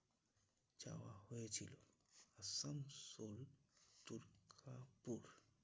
হয়েছিল। আসানসোল দুর্গাপুর